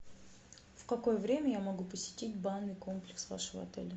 в какое время я могу посетить банный комплекс вашего отеля